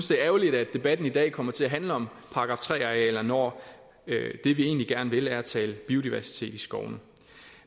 det er ærgerligt at debatten i dag kommer til at handle om § tre arealerne når det vi egentlig gerne vil er at tale biodiversitet i skovene